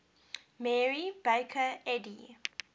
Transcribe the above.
mary baker eddy